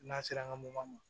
N'a sera an ka mobili ma